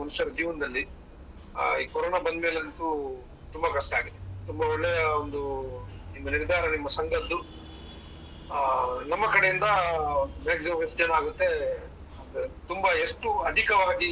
ಇದೆ ಮನುಷ್ಯರ ಜೀವನದಲ್ಲಿ. ಆ ಈ corona ಬಂದ್ಮೇಲೆ ಅಂತೂ ತುಂಬಾ ಕಷ್ಟ ಆಗಿದೆ. ತುಂಬಾ ಒಳ್ಳೆಯ ಒಂದು ನಿಮ್ಮ ನಿರ್ಧಾರ ನಿಮ್ಮ ಸಂಘದ್ದು. ಆ ನಮ್ಮ ಕಡೆಯಿಂದ ಆ maximum ಎಷ್ಟು ಜನ ಆಗುತ್ತೆ ಒಂದು ತುಂಬಾ ಎಷ್ಟು ಅಧಿಕವಾಗಿ.